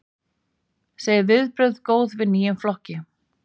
Segir viðbrögð góð við nýjum flokki